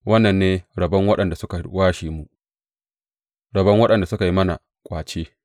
Wannan ne rabon waɗanda suka washe mu, rabon waɗanda suka yi mana ƙwace.